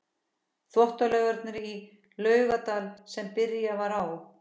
Þvottalaugarnar í Laugardal sem byrjað var á